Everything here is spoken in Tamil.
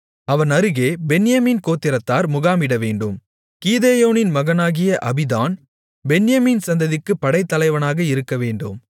அவன் அருகே பென்யமீன் கோத்திரத்தார் முகாமிடவேண்டும் கீதெயோனின் மகனாகிய அபீதான் பென்யமீன் சந்ததிக்குப் படைத்தலைவனாக இருக்கவேண்டும்